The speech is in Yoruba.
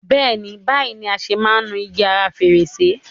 Béèni, báyìí ni a ṣe máa ń nu igi ara fèrèsé.